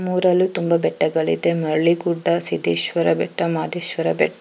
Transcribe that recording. ನಮ್ಮೂರಲ್ಲೂ ತುಂಬಾ ಬೆಟ್ಟಗಳಿದೆ ಹಳ್ಳಿ ಗುಡ್ಡ ಸಿದ್ದೇಶ್ವರ ಬೆಟ್ಟ ಮಾದೇಶ್ವರ ಬೆಟ್ಟ --